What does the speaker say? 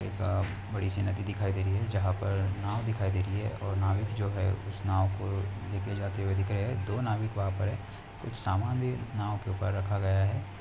एक अ बड़ी सी नदी दिखाई दे रही है जहां पर नाव दिखाई दे रही है और नाविक जो है उस नाव को ले के जाते हुए दिख रहे हैं। दो नाविक वहाँ पर हैं कुछ सामान भी नाव के ऊपर रखा गया है।